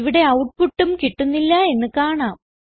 ഇവിടെ ഔട്ട്പുട്ടും കിട്ടുന്നില്ല എന്ന് കാണാം